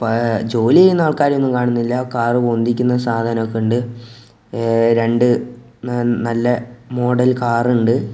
ഏ ജോലി ചെയ്യുന്ന ആൾക്കാരെ ഒന്നും കാണുന്നില്ല കാറ് പൊന്തിക്കുന്ന സാധനം ഒക്കെ ഉണ്ട് ഏ രണ്ടു നല്ല മോഡൽ കാറുണ്ട് .